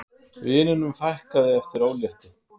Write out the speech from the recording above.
Vinunum fækkaði eftir óléttu